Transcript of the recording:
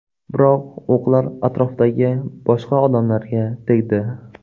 Biroq o‘qlar atrofdagi boshqa odamlarga tegdi.